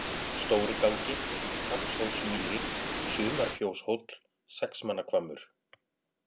Stórigálgi, Hrafnshólsmýri, Sumarfjóshóll, Sexmannahvammur